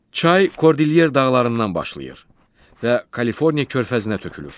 Çay Kordilyer dağlarından başlayır və Kaliforniya körfəzinə tökülür.